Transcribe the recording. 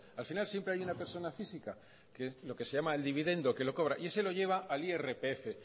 al final siempre hay una persona física que lo que se llama el dividendo que lo cobra y ese lo llega al irpf